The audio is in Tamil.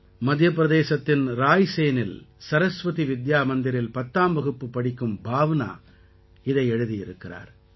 மத்திய பிரதேசத்தின் ராய்சேனில் சரஸ்வதி வித்யா மந்திரில் பத்தாம் வகுப்பு படிக்கும் பாவ்னா இதை எழுதியிருக்கிறார்